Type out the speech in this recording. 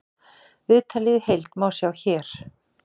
Viðtalið í heild má sjá hér